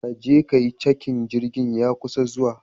Ka je ka yi cakin, jirgi ya kusa zuwa.